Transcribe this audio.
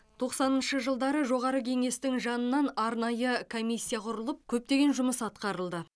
тоқсаныншы жылдары жоғары кеңестің жанынан арнайы комиссия құрылып көптеген жұмыс атқарылды